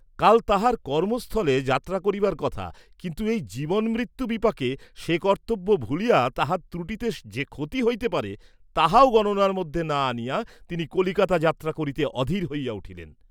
কাল তাঁহার কর্ম্ম স্থলে যাত্রা করিবার কথা কিন্তু এই জীবনমৃত্যু বিপাকে সে কর্ত্তব্য ভুলিয়া তাহার ত্রুটিতে যে ক্ষতি হইতে পারে, তাহাও গণনার মধ্যে না আনিয়া তিনি কলিকাতা যাত্রা করিতে অধীর হইয়া উঠিলেন।